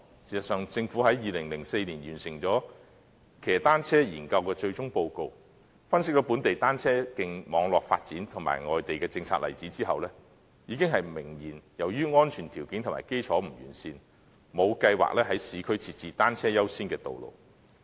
事實上，政府在2004年完成騎單車研究的最終報告，分析本地單車徑網絡發展及外地政策例子後，已經明言由於安全條件和基礎不完善，故沒有計劃在市區設置單車優先的道路。